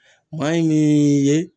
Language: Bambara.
Maa in nin ye